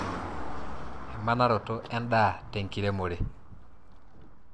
emanaroto edaa te nkiremore.